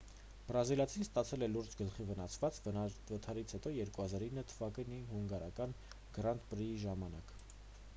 բրազիլացին ստացել է լուրջ գլխի վնասվածք վթարից հետո 2009 թվականի հունգարական գրանդ պրիի ժամանակ